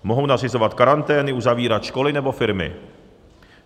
Mohou nařizovat karantény, uzavírat školy nebo firmy.